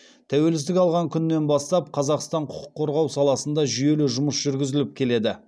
тәуелсіздік алған күннен бастап қазақстан құқық қорғау саласында жүйелі жұмыс жүргізіліп келеді